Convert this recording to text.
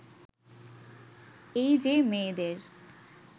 এই যে মেয়েদের